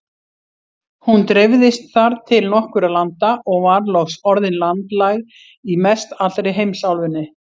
Hún dreifðist þar til nokkurra landa og var loks orðin landlæg í mestallri heimsálfunni.